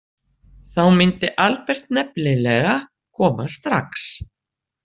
Þá myndi Albert nefnilega koma strax.